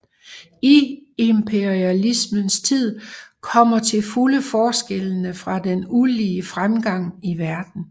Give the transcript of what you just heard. I imperialismens tid kommer til fulde forskellen fra den ulige fremgang i verden